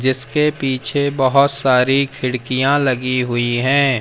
जिसके पीछे बहुत सारी खिड़कियां लगी हुई हैं।